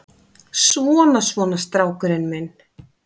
Svona, svona, strákurinn minn.